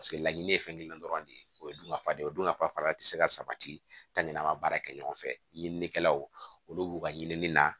Paseke laɲini ye fɛn gilan dɔrɔn de ye o ye dun ka fadenw dun ka fa fara ti se ka sabati ka ɲin'an ka baara kɛ ɲɔgɔn fɛ ɲininikɛlaw olu b'u ka ɲinini na